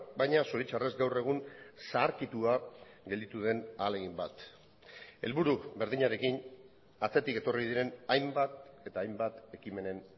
baina zoritxarrez gaur egun zaharkitua gelditu den ahalegin bat helburu berdinarekin atzetik etorri diren hainbat eta hainbat ekimenen